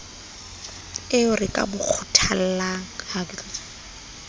eo re ka mo kgothollang